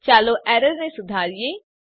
ચાલો એરરને સુધારીએ